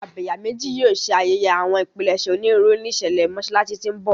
Abẹ̀yàmejì yóò ṣe ayẹyẹ àwọn ìpilẹ̀ṣẹ̀ onírúurú ní ìṣẹ̀lẹ̀ Mọ́ṣáláṣí tí ń bọ̀.